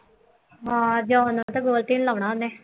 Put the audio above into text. ਹਾਂ ਜਿਉਂ ਨਾਲ ਤਾਂ ਲਾਉਣਾ ਉਹਨੇ